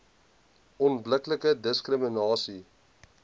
onbillike diskrimina sie